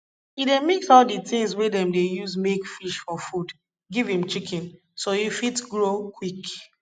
e dey mix all di things wey dem dey use make fish for food give im chicken so e fit grow quick